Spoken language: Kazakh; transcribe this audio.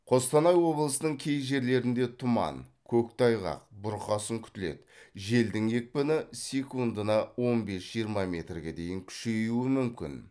қостанай облысының кей жерлерінде тұман көктайғақ бұрқасын күтіледі желдің екпіні секнудына он бес жиырма метрге дейін күшеюуі мүмкін